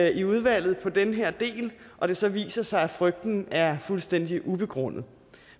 i udvalget på den her del og det så viser sig at frygten er fuldstændig ubegrundet